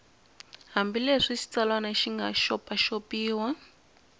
hambileswi xitsalwana xi nga xopaxopiwa